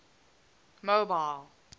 mobile